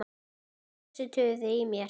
Hættu þessu tuði í mér.